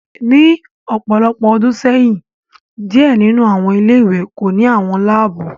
Ni ọpọlọpọ ọdun sẹyin, diẹ ninu awọn ile-iwe ko ni awọn laabu